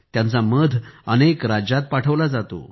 त्याचं मध अनेक राज्यांत पाठवलं जातं